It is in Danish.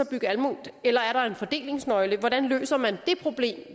bygge alment eller er der en fordelingsnøgle hvordan løser man det problem